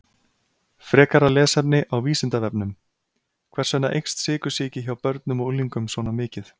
Frekara lesefni á Vísindavefnum: Hvers vegna eykst sykursýki hjá börnum og unglingum svona mikið?